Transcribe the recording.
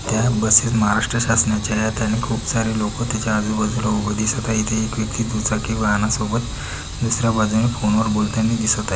या बसेस महाराष्ट्र शासनाच्या आहेत आणि खूप सारे लोक त्याच्या आजुबाजूला ऊभे दिसत आहे. इथ एक व्यक्ति दुचाकी वाहनासोबत दुसर्‍या बाजूने फोनवर बोलताना दिसत आहे.